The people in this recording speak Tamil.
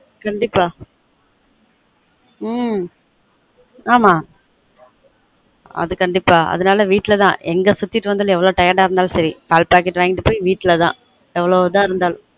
கண்டீப்பா உம் ஆமா அது கண்டீப்பா அதுனால வீட்ல தான் எங்க சுத்திட்டு வந்தாலும் எவ்ளொ tired இருந்தாலும் சரி பால் packet வாங்கிட்டு போய் வீட்ல தான் எவ்ளொ இதா இருந்தாலும்